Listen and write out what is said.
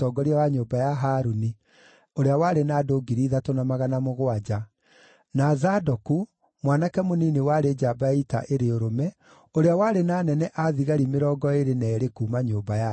na Zadoku, mwanake mũnini warĩ njamba ya ita ĩrĩ ũrũme, ũrĩa warĩ na anene a thigari mĩrongo ĩĩrĩ na eerĩ kuuma nyũmba yake;